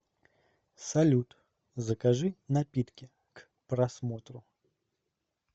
салют закажи напитки к просмотру